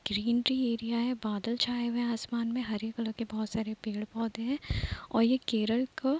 greenery area है बादल छाए हुए हैं आसमान में हरे कलर के बहोत सारे पेड़-पौधे हैं और ये केरल का --